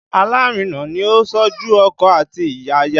Alárinà ni ó ń ṣojú ọkọ àti aya